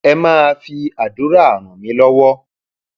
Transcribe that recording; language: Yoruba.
ẹ máa fi àdúrà ràn mí lọwọ